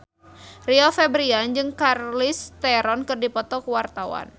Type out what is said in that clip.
Rio Febrian jeung Charlize Theron keur dipoto ku wartawan